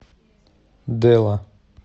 дэла